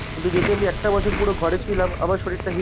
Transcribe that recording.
কিন্তু যেহেতু আমি একটা বছর পুরো ঘরে ছিলাম আমার শরীরটা heal হয়েছিল,